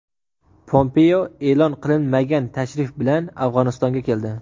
Pompeo e’lon qilinmagan tashrif bilan Afg‘onistonga keldi.